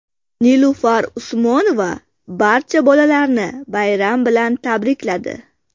Nilufar Usmonova barcha bolalarni bayram bilan tabrikladi.